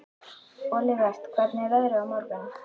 Olivert, hvernig er veðrið á morgun?